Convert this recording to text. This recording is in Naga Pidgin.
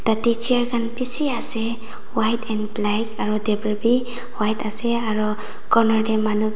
tatey chair khan bishi ase white and black aro table bi white ase aro corner tey manu--